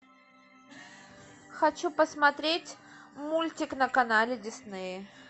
хочу посмотреть мультик на канале дисней